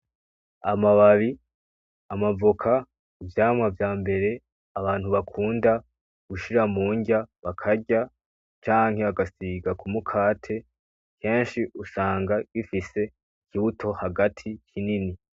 amababi, amavoka, ivyamwa vyambere abantu bakunda gushira mundya bakarya canke bagasiga kumukate kenshi usanga gifise ikibuto hagati kinini.